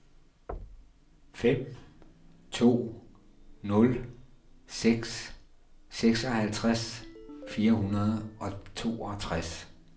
fem to nul seks seksoghalvtreds fire hundrede og toogtres